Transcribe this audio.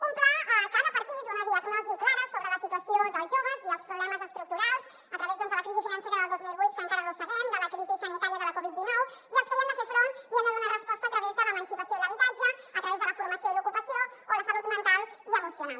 un pla que ha de partir d’una diagnosi clara sobre la situació dels joves i els problemes estructurals a través de la crisi financera del dos mil vuit que encara arrosseguem de la crisi sanitària de la covid dinou i als que hi hem de fer front i hi hem de donar resposta a través de l’emancipació i l’habitatge a través de la formació i l’ocupació o la salut mental i emocional